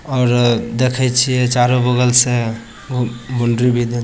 और देखे छीये चारो बगल से ब बॉउंड्री भी --